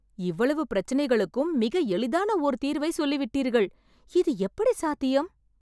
இவ்வளவு பிரச்சனைகளுக்கும் மிக எளிதான ஓர் தீர்வை சொல்லி விட்டிர்கள்! இது எப்படி சாத்தியம்?